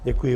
Děkuji.